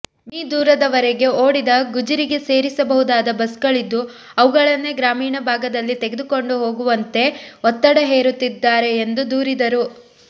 me ದೂರದವರೆಗೆ ಓಡಿದ ಗುಜರಿಗೆ ಸೇರಿಸಬಹುದಾದ ಬಸ್ಗಳಿದ್ದು ಅವುಗಳನ್ನೇ ಗ್ರಾಮೀಣ ಭಾಗದಲ್ಲಿ ತೆಗೆದುಕೊಂಡು ಹೋಗುವಂತೆ ಒತ್ತಡ ಹೇರುತ್ತಿದ್ದಾರೆ ಎಂದು ದೂರಿದರು